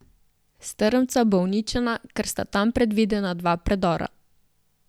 Strmca bo uničena, ker sta tam predvidena dva predora.